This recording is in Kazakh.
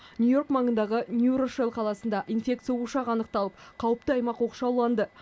нью йорк маңындағы нью рошелл қаласында инфекция ошағы анықталып қауіпті аймақ оқшауланды